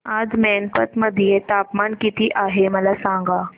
आज मैनपत मध्ये तापमान किती आहे मला सांगा